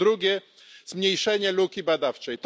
I po drugie, zmniejszenie luki badawczej.